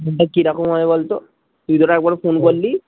ফোনটা কি রকম হয় বলতো তুই যে এর আগে একবার ফোন করলি